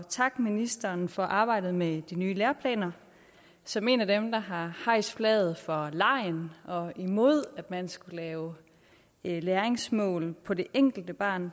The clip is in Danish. takke ministeren for arbejdet med de nye læreplaner som en af dem der har hejst flaget for legen og imod at man skulle lave læringsmål på det enkelte barn